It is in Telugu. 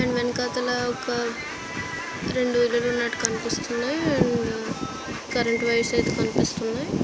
అండ్ వేనుకతుల ఒక రెండు ఇల్లు ఉన్నటు కనిపిస్తున్నాయి ఉమ్ కర్రెంట్ వైర్ సెట్స్ కనిపిస్తున్నాయి.